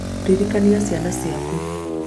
ririkania ciana ciaku